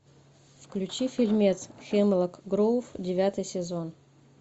включи фильмец хемлок гроув девятый сезон